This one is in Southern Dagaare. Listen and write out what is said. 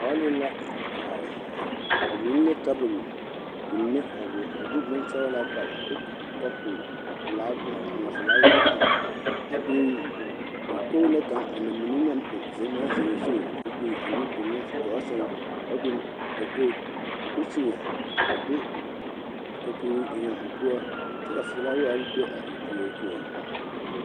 Bɔl la a are ba biŋ la tabol mine a be a de bonsɔglaa pare a de kapu pelaa mare a ŋma felaware eŋ a biŋ dakogi na kaŋ a namine zenmaa zeŋ o zu koo biŋ a nudoluŋ gɔɔ saŋ koo biŋ dakogi kusimɛ a de kapure eŋ a o poɔ kyɛ ka felaware be a o puori poɔ.